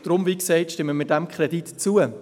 Deshalb stimmen wir diesem Kredit wie gesagt zu.